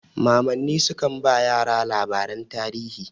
Mamanni sukan ba yara labaran tarihi.